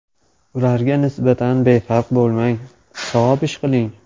Ularga nisbatan befarq bo‘lmang, savob ish qiling.